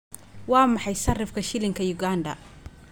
Waa maxay sarifka shilinka Uganda?